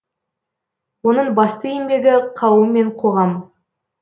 оның басты еңбегі қауым мен қоғам